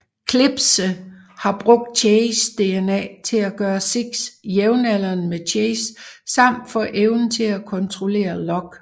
Klipse har brugt Chases DNA til at gøre Six jævnaldrende med Chase samt få evnen til at kontrollerer Lock